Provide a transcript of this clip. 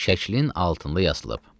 şəklin altında yazılıb.